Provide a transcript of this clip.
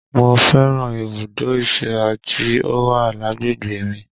Mo fẹ́ràn ibùdó ìsíra tí ó wà lágbègbè mi